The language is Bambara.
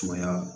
Sumaya